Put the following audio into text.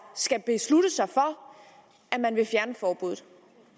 skal beslutte sig for at man vil fjerne forbuddet